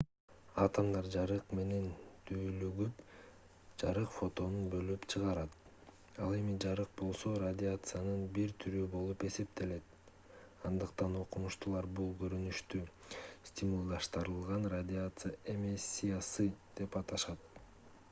атомдор жарык менен дүүлүгүп жарык фотонун бөлүп чыгарат ал эми жарык болсо радиациянын бир түрү болуп эсептелет андыктан окумуштуулар бул көрүнүштү стимулдаштырылган радиация эмиссиясы деп аташат